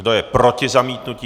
Kdo je proti zamítnutí?